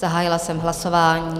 Zahájila jsem hlasování.